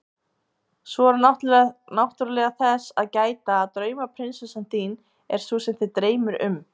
Svo er náttúrlega þess að gæta að draumaprinsessa þín er sú sem þig dreymir um.